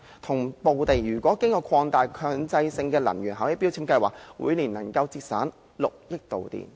總體來說，經擴大的強制性標籤計劃，每年可節省6億度電。